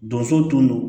Donso tun don